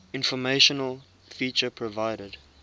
informational feature provided